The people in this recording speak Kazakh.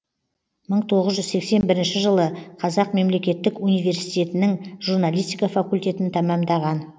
мың тоғыз жүз сексен бірінші жылы қазақ мемлекеттік университетінің журналистика факультетін тамамдаған